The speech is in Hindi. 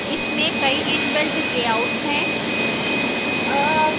इसमें कई इन्बिल्ट layouts है